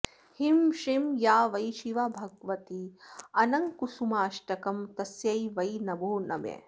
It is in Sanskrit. ह्रीं श्रीं या वै शिवा भगवती अनङ्गकुसुमाष्टकं तस्यै वै नभो नमः